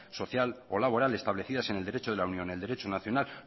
social o laboral establecidas en el derecho de la unión el derecho nacional